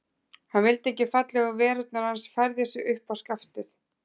Hann vildi ekki að fallegu verurnar Hans færðu sig upp á skaftið.